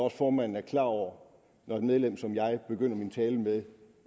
at formanden er klar over når et medlem som jeg begynder min tale med